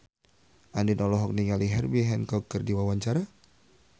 Andien olohok ningali Herbie Hancock keur diwawancara